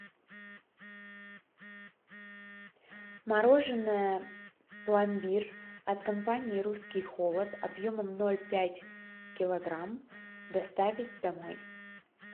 мороженое пломбир от компании русский холод объемом ноль пять килограмм доставить домой